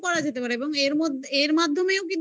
করা যেতে পারে এবং এর মধ্যে এর মাধ্যমেও কিন্তু আমরা